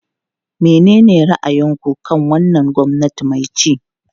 Menene ra'ayinku kan wannan gwamnati mai ci?